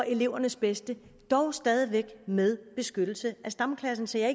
elevernes bedste dog stadig væk med beskyttelse af stamklassen så jeg